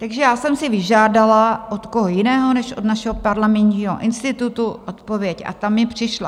Takže já jsem si vyžádala - od koho jiného než od našeho Parlamentního institutu - odpověď a ta mi přišla.